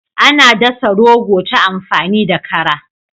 Ana dasa rogo ta amfani da kara.